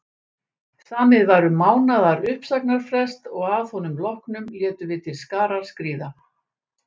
Samið var um mánaðar uppsagnarfrest og að honum loknum létum við til skarar skríða.